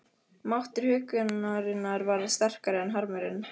Máttur huggunarinnar varð sterkari en harmurinn.